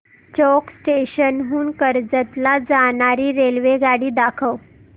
चौक station हून कर्जत ला जाणारी रेल्वेगाडी दाखव